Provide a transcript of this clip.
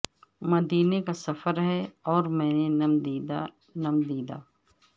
مدینے کا سفر ہے اور میں نم دیدہ نم دیدہ